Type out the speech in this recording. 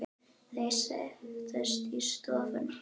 Þau settust í sófann.